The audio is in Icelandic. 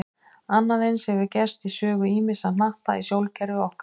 Annað eins hefur gerst í sögu ýmissa hnatta í sólkerfi okkar.